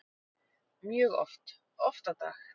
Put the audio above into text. Mjög oft, oft á dag.